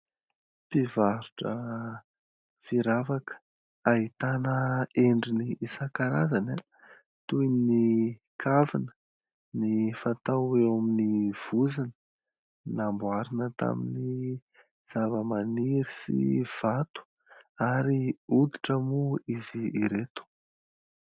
Mpivarotra firavaka ahitana endriny isakarazany toy : ny kavina, ny fatao eo amin'ny vozona. Namboarina tamin'ny zava-maniry sy vato ary hoditra moa izy ireto.